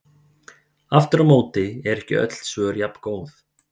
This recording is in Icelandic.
Aftur á móti eru ekki öll svör jafngóð.